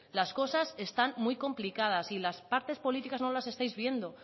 las cosas están muy complicadas y las partes políticas no las estáis viendo